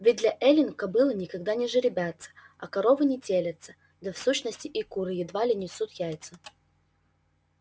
ведь для эллин кобылы никогда не жеребятся а коровы не телятся да в сущности и куры едва ли несут яйца